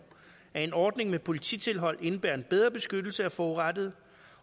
at ordningen med polititilhold indebærer en bedre beskyttelse af forurettede